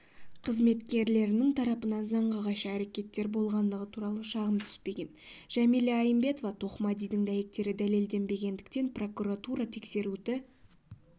қызметкерлерінің тарапынан заңға қайшы әрекеттер болғандығы туралы шағым түспеген жәмила айымбетова-тоқмәдидің дәйектері дәлелденбегендіктен прокуратура тексеруді